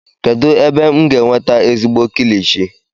kedu ebe m ga-enweta ezigbo kilichi?